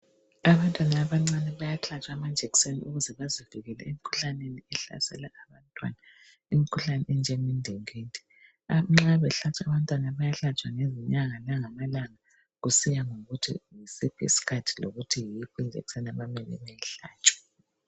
Abantwana abancane bayahlatshwa amajekiseni ukuze bazivikele emikhuhlaneni ehlasela abantwana. Imikhuhlane enjenge ndingindi. Nxa belatshwa abantwana bayahlatshwa ngezinyanga langamalanga kusiya ngokuthi yisiphi isikhathi lokuthi yiphi ijekiseni abamele bayihlatshwe.